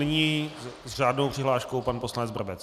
Nyní s řádnou přihláškou pan poslanec Brabec.